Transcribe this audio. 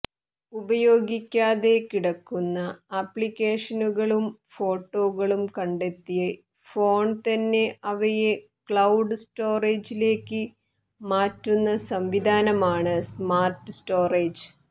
ഉപയോഗിക്കാതെ കിടക്കുന്ന ആപ്ലിക്കേഷനുകളും ഫോട്ടോകളും കണ്ടെത്തി ഫോണ് തന്നെ അവയെ ക്ലൌഡ് സ്റ്റോറേജിലേക്ക് മാറ്റുന്ന സംവിധാനമാണ് സ്മാര്ട് സ്റ്റോറേജ്